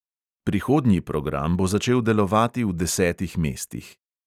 Prihodnji program bo začel delovati v desetih mestih.